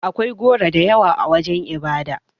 Akwai goro da yawa a wajen ibada.